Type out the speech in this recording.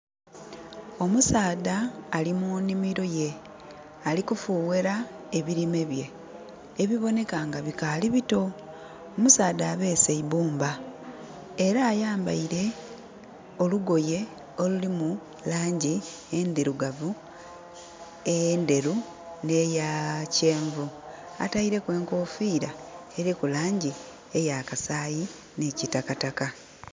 Omusaadha ali mu nhimiro ye. Ali kufughera ebilime bye ebiboneka nga bikaali bito. Omusaadha abeese eibumba, era ayambaile olugoye olulimu laangi endhirugavu, endheru, n'eyakyenvu. Ataileku enkoofira eliku laangi ey'akasaayi, nhi kitakataka.